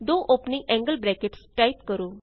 ਦੋ opening angle brackets type ਕਰੋ